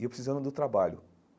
E eu precisando do trabalho.